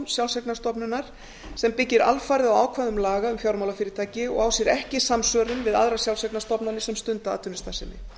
sjálfseignarstofnunar sem byggir alfarið á ákvæðum laga um fjármálafyrirtæki og á sér ekki samsvörun við aðrar sjálfseignarstofnanir sem stunda atvinnustarfsemi